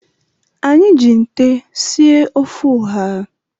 Anyị ji nte sie ofe ụha.